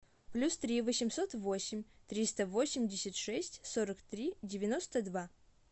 плюс три восемьсот восемь триста восемьдесят шесть сорок три девяносто два